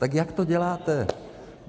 Tak jak to děláte?